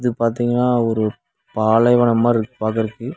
பாத்தீங்கனா ஒரு பாலைவனம் மார் இருக்கு பாக்கறக்கு.